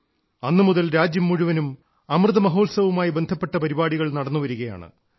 അന്നു മുതൽ രാജ്യം മുഴുവനും അമൃത മഹോത്സവവുമായി ബന്ധപ്പെട്ട പരിപാടികൾ നടന്നുവരികയാണ്